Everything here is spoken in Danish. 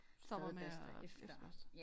Stopper med at efterbørste